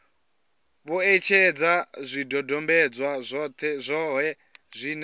vho etshedza zwidodombedzwa zwohe zwine